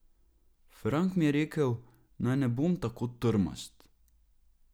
Frank mi je rekel, naj ne bom tako trmast.